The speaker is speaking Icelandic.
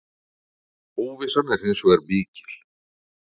Óvissan er hins vegar mikil.